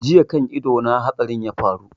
Jiya kan ido na hatsarin ya faru